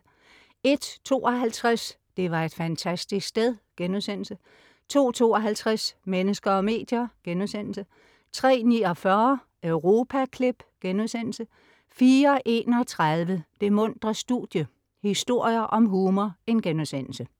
01.52 Det var et fantastisk sted* 02.52 Mennesker og medier* 03.49 Europaklip* 04.31 Det muntre studie - historier om humor*